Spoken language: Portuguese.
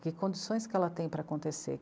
Que condições que ela tem para acontecer?